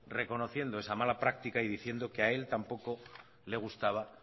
reconociendo esa mala práctica y diciendo que a él tampoco le gustaba